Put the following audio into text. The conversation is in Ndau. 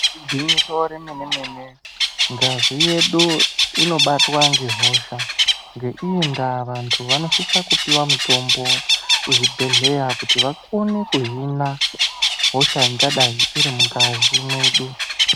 Igwinyiso remene-mene, ngazi yedu inobatwa ngehosha. Ngeiyi ndaa vantu vanosise kupiwe mutombo, kuzvibhedhlera kuti vakone kuhina hosha ingadai irimungazi medu.